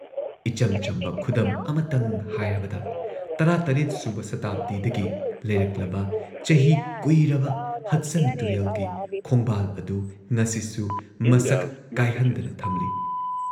ꯏꯆꯝ ꯆꯝꯕ ꯈꯨꯗꯝ ꯑꯃꯇꯪ ꯍꯥꯏꯔꯕꯗ ꯱꯷ꯁꯨꯕ ꯁꯇꯥꯕꯗꯤꯗꯒꯤ ꯂꯩꯔꯛꯂꯕ ꯆꯍꯤ ꯀꯨꯏꯔꯕ ꯍꯗꯁꯟ ꯇꯨꯔꯦꯜꯒꯤ ꯈꯣꯡꯕꯥꯜ ꯑꯗꯨ ꯉꯁꯤꯁꯨ ꯃꯁꯛ ꯀꯥꯏꯍꯟꯗꯅ ꯊꯝꯂꯤ ꯫